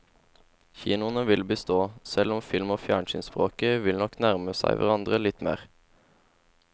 Kinoene vil bestå, selv om film og fjernsynsspråket nok vil nærme seg hverandre litt mer.